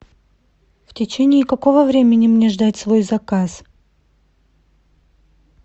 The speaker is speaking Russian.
в течении какого времени мне ждать свой заказ